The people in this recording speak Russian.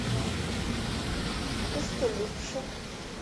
костомукша